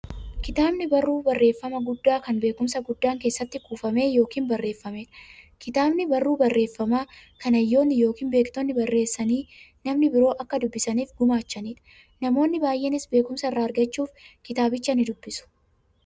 Kitaabni barruu barreeffamaa guddaa, kan beekumsi guddaan keessatti kuufame yookiin barreefameedha. Kitaabni barruu barreeffamaa, kan hayyoonni yookiin beektonni barreessanii, namni biroo akka dubbisaniif gumaachaniidha. Namoonni baay'eenis beekumsa irraa argachuuf kitaabicha nidubbisu.